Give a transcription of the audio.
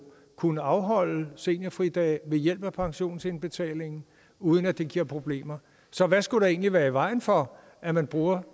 kunne afholde seniorfridage ved hjælp af pensionsindbetalingen uden at det giver problemer så hvad skulle der egentlig være i vejen for at man bruger